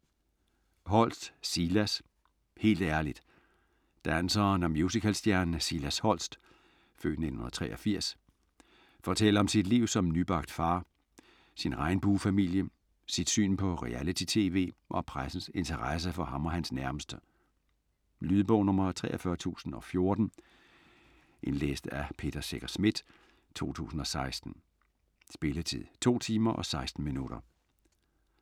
Holst, Silas: Helt ærligt Danseren og musicalstjernen Silas Holst (f. 1983) fortæller om sit liv som nybagt far, sin regnbuefamilie, sit syn på reality-tv og pressens interesse for ham og hans nærmeste. Lydbog 43014 Indlæst af Peter Secher Schmidt, 2016. Spilletid: 2 timer, 16 minutter.